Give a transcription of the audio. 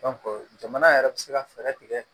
jamana yɛrɛ bɛ se ka fɛɛrɛ tigɛ